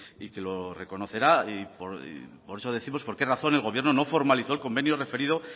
y que lo reconocerá y por eso décimos por qué razón el gobierno no formalizó el convenio referido